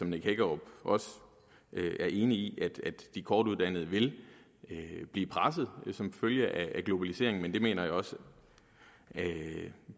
nick hækkerup også er enig i at de kortuddannede vil blive presset som følge af globaliseringen men det mener jeg også